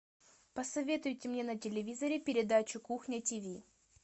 посоветуйте мне на телевизоре передачу кухня тиви